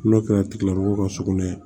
N'o kɛra tigilamɔgɔw ka sugunɛ